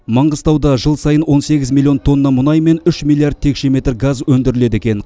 маңғыстауда жыл сайын он сегіз миллион тонна мұнай мен үш миллиард текше метр газ өндіріледі екен